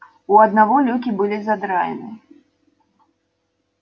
у одного люки были задраены